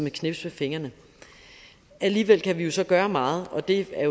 et knips med fingrene alligevel kan vi jo så gøre meget og det er